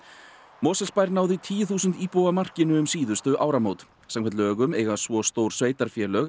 Mosfellsbær náði tíu þúsund íbúa markinu um síðustu áramót samkvæmt lögum eiga svo stór sveitarfélög